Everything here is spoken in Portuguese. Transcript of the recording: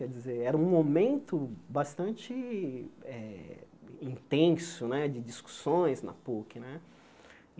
Quer dizer era um momento bastante eh intenso né de discussões na Puc né.